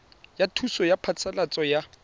ya thuso ya phasalatso ya